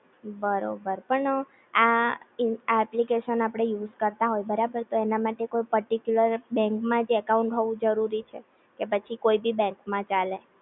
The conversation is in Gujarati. બરોબર પણ આ ઈ આ એપ્લિકેશન આપડે યુઝ કરતાં હોય બરાબર તો એના માટે કોઈ પર્ટીકયુલર બેન્ક માં જ એકાઉન્ટ હોવું જરૂરી છે? કે કોઈ ભી બેન્ક માં ચાલે?